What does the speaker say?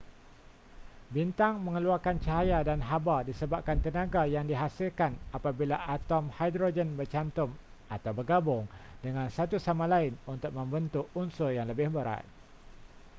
bintang mengeluarkan cahaya dan haba disebabkan tenaga yang dihasilkan apabila atom hidrogen bercantum atau bergabung dengan satu sama lain untuk membentuk unsur yang lebih berat